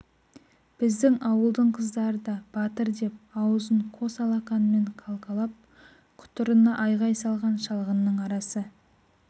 біздің ауылдың қыздары да батыр деп аузын қос алақанымен қалқалап құтырына айғай салған шалғынның арасы